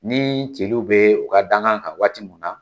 Ni celu bɛ u ka dankan kan waati mun na